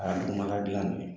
A dugumana dilan nin ye